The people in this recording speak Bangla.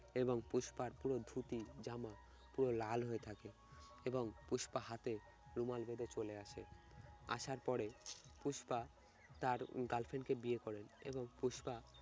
এবং পুষ্পার পুরো ধুতি জামা পুরো লাল হয়ে থাকে এবং পুষ্পা হাতে রুমাল বেঁধে চলে আসে আসার পরে পুষ্পা তার girlfriend কে বিয়ে করেন এবং পুষ্পা